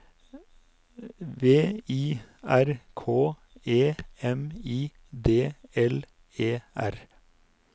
V I R K E M I D L E R